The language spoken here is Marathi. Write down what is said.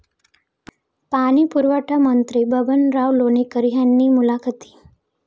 पाणी पुरवठामंत्री बबनराव लोणीकर यांनी मुलाखती.